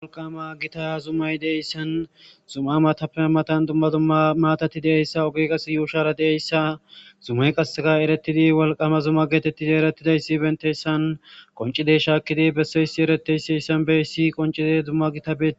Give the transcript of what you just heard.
walqama gita zumay deyssan zuma matape a matan dumma dumma maatati deeyssa oge qas yuushara deeyssa zumay qaseka eretidi walqama zuma geetettida erettidayssi benteyssan qoncide shaakkidi besseyssi ereteysiyssan beysi qoncide dumma gita bee